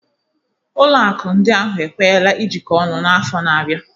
Ụlọ akụ ndị ahụ ekwenyela ijikọ ọnụ n'afọ na-abịa